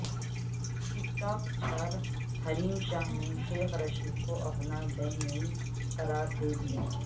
ٹک talk star Hareem Shah نے شیخ رشید کو اپنا بہنوئی قرار دیدیا